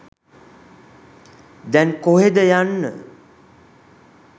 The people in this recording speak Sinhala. දැන් කොහෙද යන්න